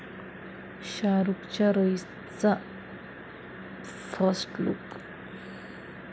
शाहरूखच्या 'रईस'चा first look